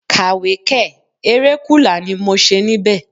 Kàwé kẹ̀! Eré kùlà ni mo ṣe níbẹ̀.